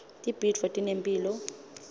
tibhidvo tinemphilo